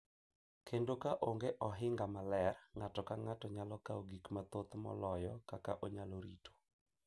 Kendo ka onge ohinga maler, ng’ato ka ng’ato nyalo kawo gik mathoth moloyo kaka onyalo rito.